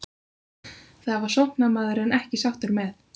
Það var sóknarmaðurinn ekki sáttur með.